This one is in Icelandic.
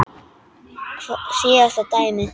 Síðasta dæmið.